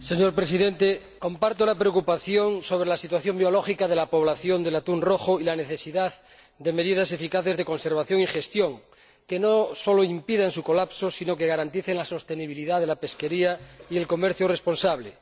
Señor Presidente, comparto la preocupación sobre la situación biológica de la población del atún rojo y coincido en la necesidad de adoptar medidas eficaces de conservación y gestión que no solo impidan su colapso, sino que también garanticen la sostenibilidad de la pesquería y el comercio responsable.